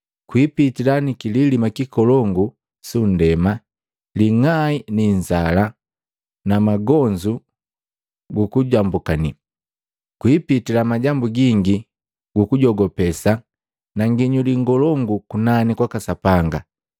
Kwipitila kililima kikolongu su ndema, ling'ai linzala, na magonzu guku jambukani, kwipitila majambu gingi guku jogopesa na nginyuli ngolongu kunani kwaka Sapanga.